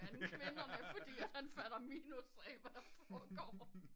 Andet end kvinderne fordi han fatter minus af hvad der forgår